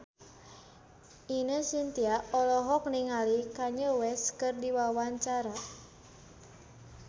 Ine Shintya olohok ningali Kanye West keur diwawancara